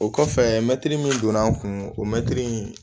O kɔfɛ mɛtiri min donn'an kun o mɛtiri in